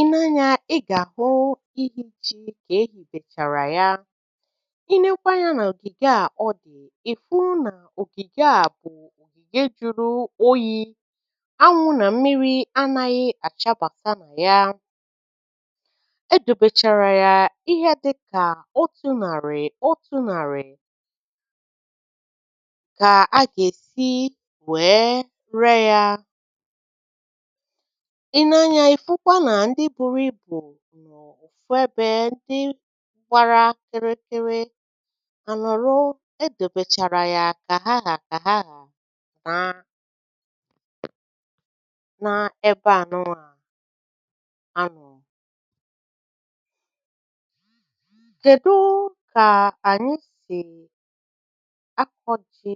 Ilee anya, ị gà-àhụ ihichi̇ k'ehi̇ bèchàrà ya. I lekwa anyȧ n’ògìgè à ọ dị̀, ị fụụ nà ògìgè à bụ̀ ògìgè jụrụ oyi̇; anwụ̇ nà mmiri̇ anȧghị̇ àchabàta nà ya. E dobechàrà ya ihe dị kà otu nàrị̀ otu nàrị̀, kà a gà-èsi wèe ree yȧ. I lee anya, ị fụkwa na ndị buru ibu nọ ofu ebe, ndị gbara kịrịkịrị ànọ̀rọ, e dèbèchàrà ya kà ha hà kà ha hà na na ebe ànụwà anọ Kedụụ kàa ànyị sì akọ̀ jì?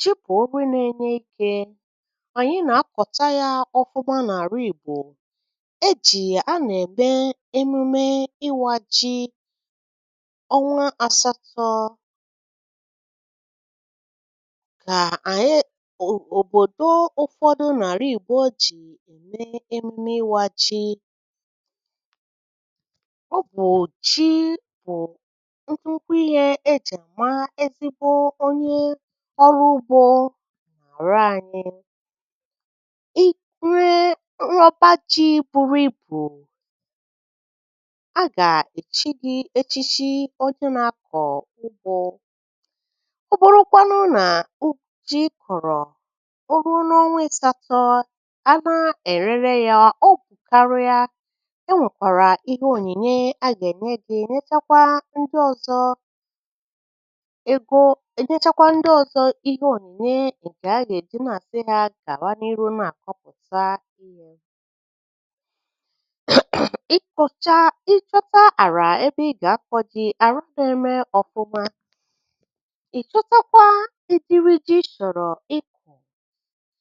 ji bụ nri na-enye ike. Anyị nà-akọ̀ta ya ọfụmȧ n'ala igbò. E jìi à na-ème emume ịwȧ ji ọnwa asatọ ka anyị o obodo ụfọdụ n'ala Igbo ji ịwa ji. Ọ bụụ ji bụ nnukwu ihe e ji a ma ezigbo onye ọrụ ugbo n'ala anyị. I nwee ọba ji buru ibu, a gà-èchi gị̇ echichi onye na-akọ ugbo. Ọ bụrụkwanụ na ji ị kọrọọ, o ruo n'ọnwa asatọ, a na-enene ya o bu karịa, o nwekwara ihe onyinye a ga-enye gị nyechakwaa ndị ozọ egoo nyechakwaa ndị ọzọ ihe onyinye nke a ga-eji na-asị ha gawa n'iru na-akọpụta Ị kọ̀chaa, ị chọta àrà ebe ị gà-akọ̇ ji; ara na-eme ọfụma, ị chọta ụdịrị ji ị chọrọ ị kọ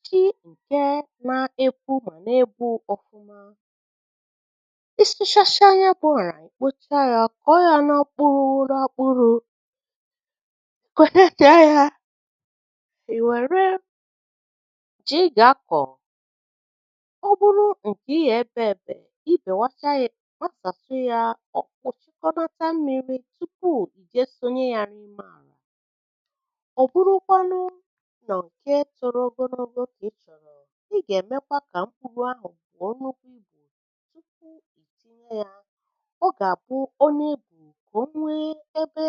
jị ǹke nȧ-epu̇ epu ọ̀fụma. Ị sụchachaa ya bụ̀ ara kpochaa yȧ, kọọ yȧ na mkpuru na mkpuru I were ji ị ga-akọ. Ọ bụrụ nke ị ga-ebe e be, i bewasịa ya, ị gbasasịa ya, ọ̀kpụ̀sịkọnata mmiri̇ tupuu ì je sonye ya n’ime àlà. Ọ bụrụkwanụ nọọ̀ nke ogologo kà ị chọ̀rọ̀, ị gà-èmekwanụ kà mkpùru buo nnukwu ibu tupuu i tinye ya, ọ gà àbụ ọ nà-ebù kà o nwee ebe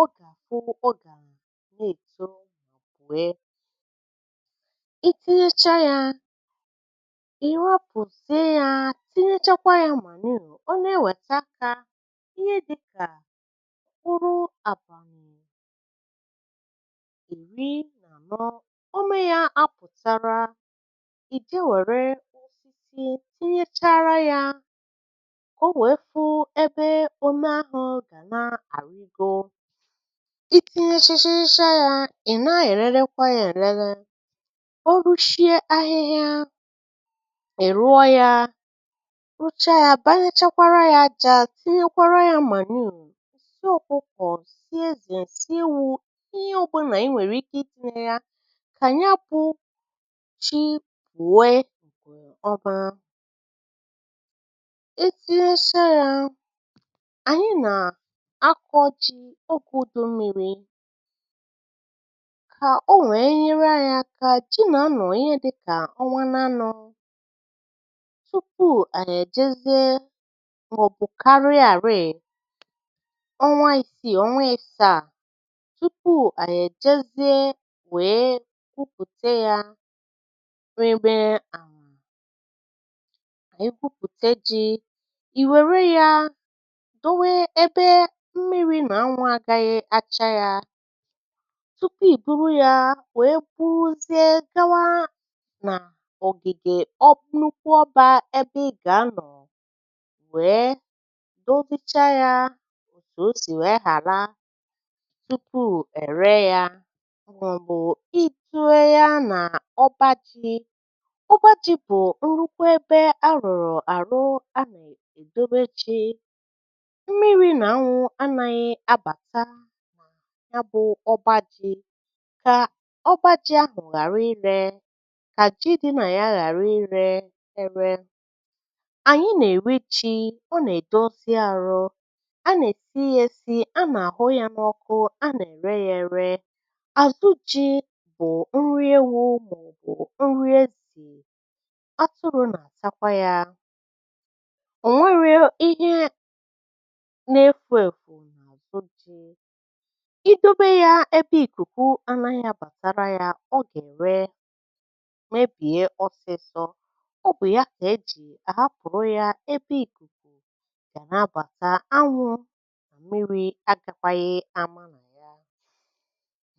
ọ gà àhụ ọ gà nà-èto wee. I tinyechaa yȧ, ị rọpụzị ya tinyechakwa ya manure o na-ewèta akà ihe dịkà uru àbàghị̀ ìmi n’ànọ omenyȧ apụ̀tara ìje wère isi̇ inyechara yȧ o nwèefu ebe ome ȧhụ̇ gà na-àrigo i tinyechachaa ịchȧ yȧ ị̀ na-ererekwà ya èlele ọrụ shie ahịhịa uchaa yȧ banyechakwara yȧjà tinyekwara yȧ manure sị o kwukọ̀, si ezè ǹsi iwu̇ tị ihe ọbụ̀ nà-enwèrè ike idị̇nye yȧ kà ya bụ̇ chi wụwe ìbìọba e si esha yȧ ànyị nà akọ̇ ji ogė ùdò mmiri̇ kà o nwèe nyere anyị̇ kà ji nà-anụ̀ ihe dịkà ọnwa n’anụ̇ màọ̀bụ̀ karịa àriè ọnwa isi, ọnwa ịsȧ túpù à nà-èjezii wèe túpùte yȧ e weébé àm̀ éwúpùte jí ì wère yȧ dowe ebe mmiri̇ nà anwụ̇ àgaghị achȧ yȧ tupu ì gúrú yȧ wèe kwuuzi gawa nà ọ̀gìgè wèe dobi̇chaa yȧ m̀tù o sì wèe ghàra tupu è ree ya màọ̀bụ̀ ìtùwe ya nà ọbȧjị̇ ọbȧjị̇ bụ̀ nrụkwa ebe a rọ̀rọ̀ àrụ a nà è dobechi mmi̇ri̇ nà anwụ̇ anȧghị abàka ya bụ̇ ọbȧjị̇ kà ọbȧjị̇ ahụ̀ ghàra irė kà ji dị nà ya ghàra irė erė ànyị nà-èri ji ọ nà-èdozi àrọ a nà-èti yȧ esi anà-àhụ ya n’ọkụ a nà-ère yȧ ėre àzụ ji bụ̀ nri ewu̇ màọ̀bụ̀ nri ezì ọ tụrụ nà àtakwa yȧ ò nwee nriọ ihe n’efu̇ èfu n’àbụ ji idobe ya ebe ìkùkù anȧghị̇ àbàtara ya ọ gà-ère mebìe ọsịsọ kà nà-àbàta anwụ̇ nà mmiri agàkwȧghị̇ àma nà ya